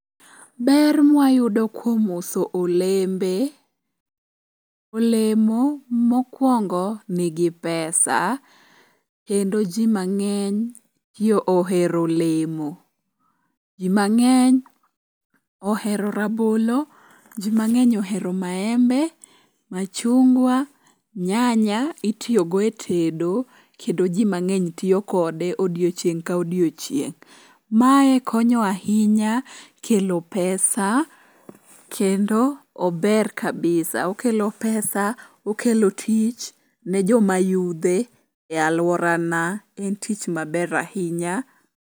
Ber mwayudo kuom uso olembe. Olemo mokwongo nigi pesa kendo ji mang'eny ti ohero olemo. Ji mang'eny ohero rabolo, ji mang'eny ohero maembe, machungwa, nyanya itiyogo e tedo kendo ji mang'eny tiyo kode odiochieng' ka odiochieng'. Mae konyo ahinya kelo pesa kendo ober kabisa okelo pesa okelo tich ne joma yudhe e alworana en tich maber ahinya.